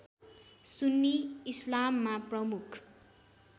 सुन्नी इस्लाममा प्रमुख